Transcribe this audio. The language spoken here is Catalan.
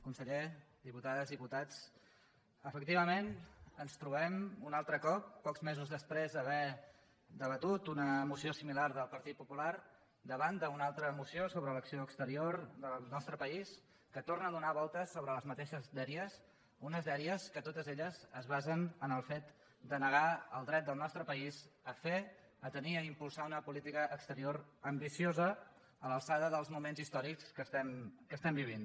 conseller diputades diputats efectivament ens trobem un altre cop pocs mesos després d’haver debatut una moció similar del partit popular davant d’una altra moció sobre l’acció exterior del nostre país que torna a donar voltes sobre les mateixes dèries unes dèries que totes elles es basen en el fet de negar el dret del nostre país a fer a tenir i a impulsar una política exterior ambiciosa a l’alçada dels moments històrics que estem vivint